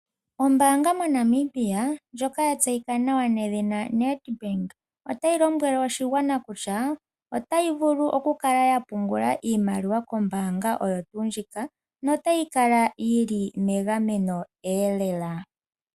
Oombanga moNamibia ndjoka yatseyika nawa nedhina NEDBANK otayi lombwele oshigwana kutya otayabvulu oku kala yapungula iimaliwa kombaanga oyo tuu ndjika notayi kala yili megameno elela .